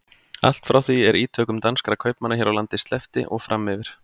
Allt frá því er ítökum danskra kaupmanna hér á landi sleppti og fram yfir